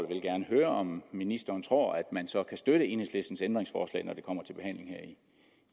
vil gerne høre om ministeren tror at man så kan støtte enhedslistens ændringsforslag når det kommer til behandling her i